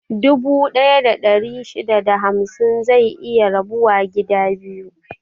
Dubu ɗaya da ɗari shida da hamsin zai iya rabuwa gida biyu.